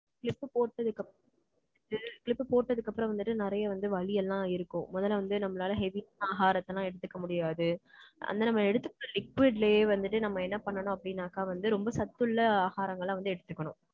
Clip போட்டதுக்கு அப்புறம் வந்துட்டு, Clip போட்டதுக்கு அப்புறம் வந்துட்டு நிறைய வந்து வலி எல்லாம் இருக்கும். முதல்ல வந்து, நம்மளால heavy ஆகாரத்தைலாம் எடுத்துக்க முடியாது. அந்த நம்ம எடுத்துக்கற liquid லயே வந்துட்டு, நம்ம என்ன பண்ணணும் அப்படின்னாக்கா வந்து, ரொம்ப சத்துள்ள ஆகாரங்களை வந்து எடுத்துக்கணும்.